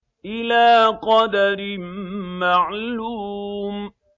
إِلَىٰ قَدَرٍ مَّعْلُومٍ